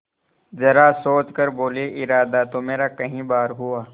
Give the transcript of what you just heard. जरा सोच कर बोलेइरादा तो मेरा कई बार हुआ